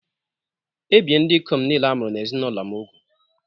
Ebìe ndị ikom niile a mụrụ n’ezinụlọ m úgwù